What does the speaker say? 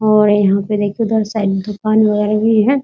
और यहाँ पर देखिए उधर साइड में दुकान वगेरह भी हैं ।